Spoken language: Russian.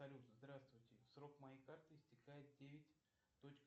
салют здравствуйте срок моей карты истекает девять точка